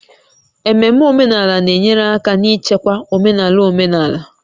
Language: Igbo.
Ememe omenala na-enyere aka n'ichekwa omenala omenala